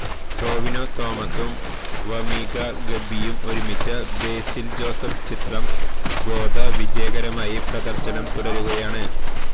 ടൊവിനോ തോമസും വമീഖ ഗബ്ബിയും ഒരുമിച്ച ബേസില് ജോസഫ് ചിത്രം ഗോദ വിജയകരമായി പ്രദർശനം തുടരുകയാണ്